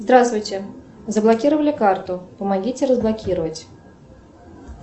здравствуйте заблокировали карту помогите разблокировать